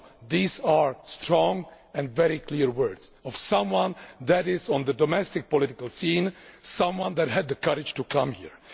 These are the strong and very clear words of someone who is on the domestic political scene, someone who had the courage to come here.